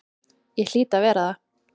Ég hlýt að vera það.